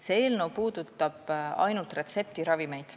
See eelnõu puudutab ainult retseptiravimeid.